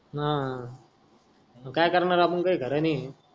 हा काय करणार आपण काही खर नाही.